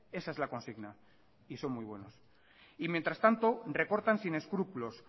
esa es la consigna y son muy buenos y mientras tanto recortan sin escrúpulos